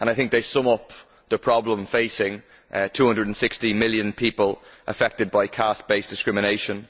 I think they sum up the problem facing 260 million people affected by caste based discrimination.